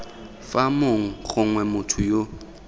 fa mong gongwe motho yo